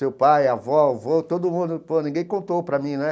Seu pai, avó, avô, todo mundo, pô ninguém contou para mim, né?